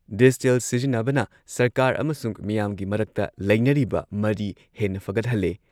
Digital ꯁꯤꯖꯤꯟꯅꯕꯅ ꯁꯔꯀꯥꯔ ꯑꯃꯁꯨꯡ ꯃꯤꯌꯥꯝꯒꯤ ꯃꯔꯛꯇ ꯂꯩꯅꯔꯤꯕ ꯃꯔꯤ ꯍꯦꯟꯅ ꯐꯒꯠꯍꯜꯂꯦ ꯫